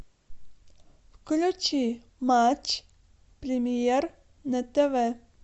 включи матч премьер на тв